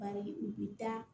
Bari u bi taa